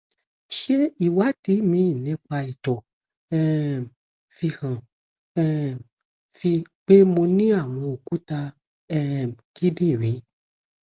ṣé ìwádìí mi nípa ito um fi hàn um pé mo ní àwọn òkúta um kidinrin